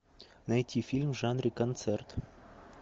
найти фильм в жанре концерт